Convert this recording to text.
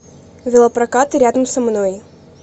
велопрокаты рядом со мной